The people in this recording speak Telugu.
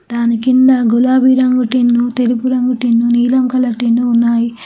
దాని కింద గులాబీ రంగు టిన్ను తెలుపు రంగు టిన్ను నీలం కలర్ టిన్ను ఉన్నాయి.